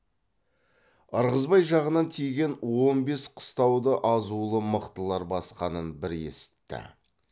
ырғызбай жағынан тиген он бес қыстауды азулы мықтылар басқанын бір есітті